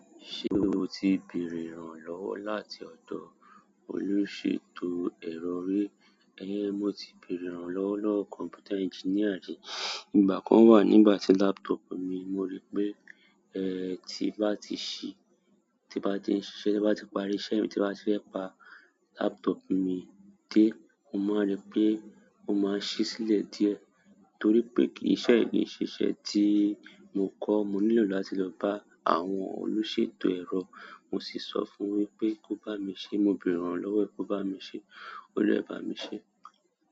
Ṣé o ti bèrè ìrànlọ́wọ́ láti ọ̀dọ̀ olùṣètò ẹ̀ro rí? Ehn, mo ti bèrè ìrànlọ́wọ́ kọ̀mpútà engineer rí. Ìgbà kan wà, nígbà tí laptop mi, mo ríi pé, eh, tí n bá ti ṣí, tí bá ti ń ṣiṣẹ́, tí bá ti parí iṣẹ́ mi, tí bá ti fẹ́ pa laptop mi dé, mo máa ríi pé ó máa ń ṣí sílẹ̀ díẹ̀. Torí pe, iṣẹ́ yìí kii se iṣẹ́ ti i mo ko. Mo nílò láti lo ba àwọn oluseto ero. Mo sì sọ fún wípé kó bá mi sẹ. Mo bèrè ìrànlọ́wọ́ ẹ, kó bá mi ṣe, o dè bá mi ṣe.